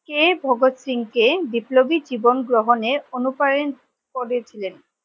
কে ভগৎ সিং কে বিপ্লবী জীবন গ্রহণের অনুপ্রাণিত করেছিলেন?